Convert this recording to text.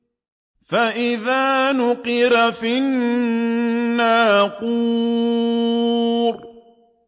فَإِذَا نُقِرَ فِي النَّاقُورِ